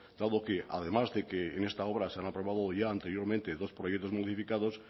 dado que además de que en esta obra se han aprobado ya anteriormente dos proyectos modificados